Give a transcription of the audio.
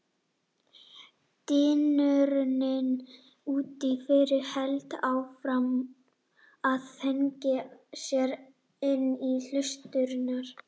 Dynurinn úti fyrir hélt áfram að þrengja sér inn í hlustirnar.